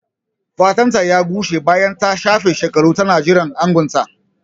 Fatanta ya gushe bayan ta shafe shekaru tana jiran angonta.